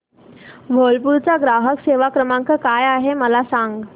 Whirlpool चा ग्राहक सेवा क्रमांक काय आहे मला सांग